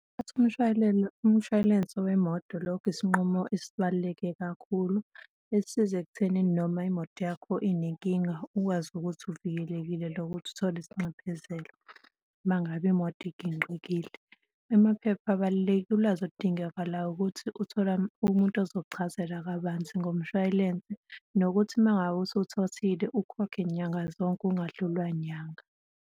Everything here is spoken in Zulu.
Ukuthatha umshway'lense wemoto lokho isinqumo esibaluleke kakhulu esisiza ekuthenini noma imoto yakho inenkinga ukwazi ukuthi uvikelekile nokuthi uthole isinxephezelo uma ngabe imoto iginqikile. Amaphepha abalulekile, ulwazi oludingakalayo ukuthi uthole umuntu ozokuchazela kabanzi ngomshwayilense nokuthi uma ngabe usuwuthathile, ukhokhe nyanga zonke ungadlulwa nyanga.